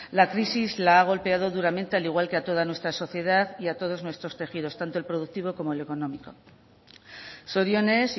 la crisis la ha golpeado duramente al igual que a toda nuestra sociedad y a todos nuestros tejidos tanto el productivo como el económico zorionez